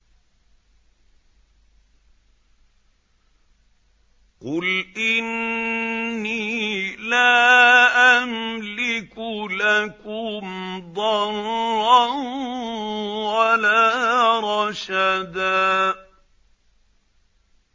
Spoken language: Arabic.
قُلْ إِنِّي لَا أَمْلِكُ لَكُمْ ضَرًّا وَلَا رَشَدًا